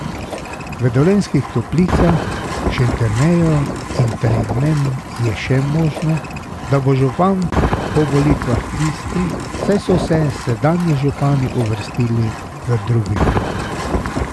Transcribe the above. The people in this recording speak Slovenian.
V Dolenjskih Toplicah, Šentjerneju in Trebnjem je še možno, da bo župan po volitvah isti, saj so se sedanji župani uvrstili v drugi krog.